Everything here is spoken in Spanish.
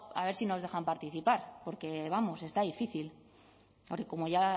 nos dejan participar porque vamos está difícil porque como ya